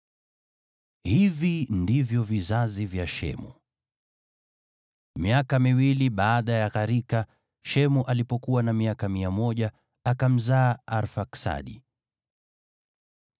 Hivi ndivyo vizazi vya Shemu. Miaka miwili baada ya gharika, Shemu alipokuwa na miaka 100, akamzaa Arfaksadi.